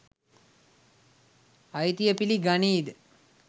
අයිතිය පිලි ගනීද?